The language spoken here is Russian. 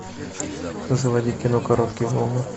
заводи кино короткие волны